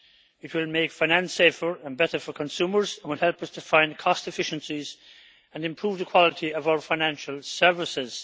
It will make finance safer and better for consumers and will help us to find cost efficiencies and improve the quality of our financial services.